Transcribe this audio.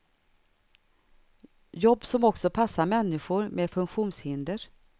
Jobb som också passar människor med funktionshinder.